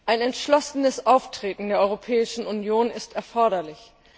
Ein entschlossenes Auftreten der Europäischen Union ist erforderlich.